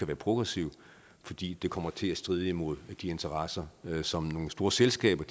være progressiv fordi det kommer til at stride imod de interesser som nogle store selskaber